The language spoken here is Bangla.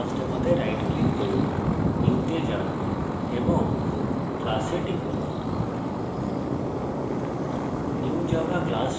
তাই classdemo তে right click করুন new তে যান এবং class এ টিপুন